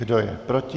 Kdo je proti?